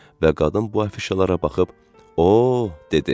Və qadın bu afişalara baxıb, "O," dedi.